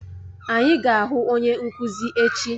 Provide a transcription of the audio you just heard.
Anyị ga-ahụ onye nkuzi echi.